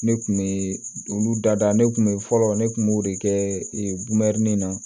Ne kun be olu dada ne kun be fɔlɔ ne kun b'o de kɛ bumɛrinin na